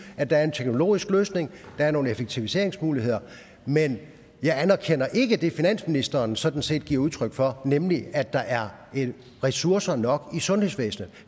at der er en teknologisk løsning der er nogle effektiviseringsmuligheder men jeg anerkender ikke det finansministeren sådan set giver udtryk for nemlig at der er ressourcer nok i sundhedsvæsenet